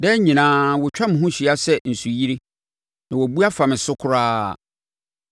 Daa nyinaa wɔtwa me ho hyia sɛ nsuyire, na wɔabu afa me so koraa.